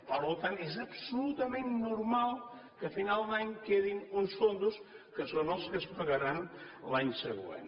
per tant és absolutament normal que a final d’any quedin uns fons que són els que es pagaran l’any següent